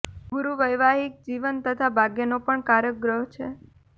ગુરૂ વૈવાહિક જીવન તથા ભાગ્યનો પણ કારક ગ્રહ છે